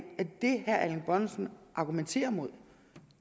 som